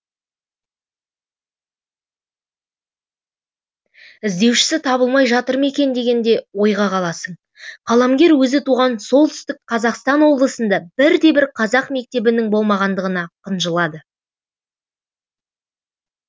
іздеушісі табылмай жатыр ма екен деген де ойға қаласың қаламгер өзі туған солтүстік қазақстан обылысында бірде бір қазақ мектебінің болмағандығына қынжылады